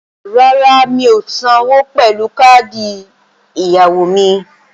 Rárá, mi ò sanwó pẹ̀lú káàdì ẹ̀yáwó mi